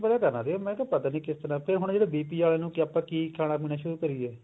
ਪਤਾ ਕਰਨਾ ਸੀ ਪਤਾ ਨੀ ਕਿਸ ਤਰ੍ਹਾਂ ਤੇ ਹੁਣ ਜਿਹੜੇ BP ਆਲੇ ਨੂੰ ਆਪਾਂ ਕੀ ਖਾਣਾ ਪੀਣਾ ਸ਼ੁਰੂ ਕਰੀਏ